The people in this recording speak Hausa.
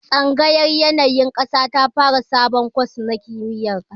Tsangayar yanayin ƙasa ta fara sabon kwas na kimiyar ƙasa